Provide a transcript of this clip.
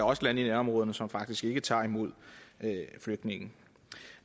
også lande i nærområderne som faktisk ikke tager imod flygtninge